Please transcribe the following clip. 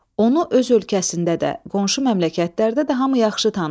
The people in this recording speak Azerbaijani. Onu öz ölkəsində də, qonşu məmləkötlərdə də hamı yaxşı tanıyırdı.